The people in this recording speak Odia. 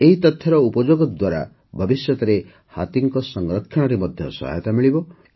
ଏହି ତଥ୍ୟର ଉପଯୋଗ ଦ୍ୱାରା ଭବିଷ୍ୟତରେ ହାତୀଙ୍କ ସଂରକ୍ଷଣରେ ମଧ୍ୟ ସହାୟତା ମିଳିବ